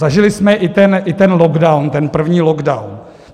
Zažili jsme i ten lockdown, ten první lockdown.